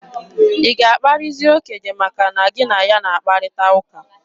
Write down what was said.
Ị ga-akparịzi okenye maka na gị na ya na-akparịta ụka?